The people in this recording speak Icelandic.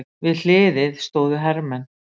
Við hliðið stóðu hermenn.